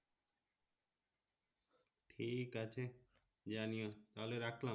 ঠিক আছে জানিও তাহলে রাখলাম